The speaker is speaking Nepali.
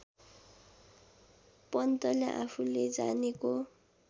पन्तले आफूले जानेको